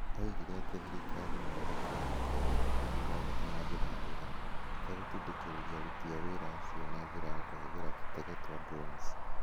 Oigire atĩ thirikari no ĩhũthĩre aruti a wĩra ngiri ithathatũ na njĩra njega. ĩtegũtindĩkĩrĩria aruti a wĩra acio na njĩra ya kũhũthĩra totege twa drones.